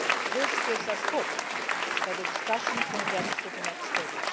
This gives us hope that the discussion can get to the next stage.